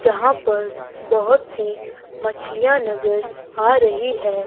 जहां पर बहोत सी मछलीयां नजर आ रही है।